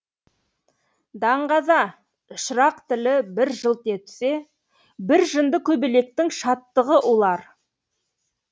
даңғаза шырақ тілі бір жылт етсе бір жынды көбелектің шаттығы улар